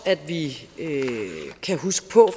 at vi kan huske